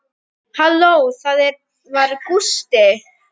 Halló, það var Gústi.